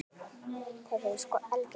Þær eru sko algjör yndi.